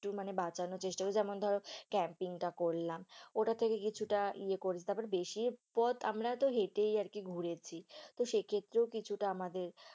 একটু মানে বাঁচানোর চেষ্টা করেছি যেমন ধরো campaign টা করলাম, ওটা থেকে কিছুটা ইয়ে করেছি, তারপরে বেশি পথ আমরা তো হেঁটেই আর কি ঘুরেছি, তো সেই ক্ষেত্রেও কিছুটা আমাদের